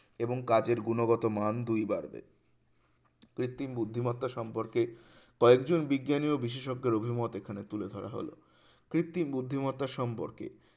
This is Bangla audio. এবং কাজের গুণগত মান দুই বাড়বে কৃত্রিম বুদ্ধিমত্তা সম্পর্কে কয়েকজন বিজ্ঞানী ও বিশেষজ্ঞর অভিমত এখানে তুলে ধরা হলো কৃত্রিম বুদ্ধিমত্তা সম্পর্কে